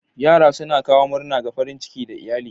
Yara suna kawo murna da farin ciki ga iyalai.